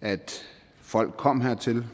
at folk kom hertil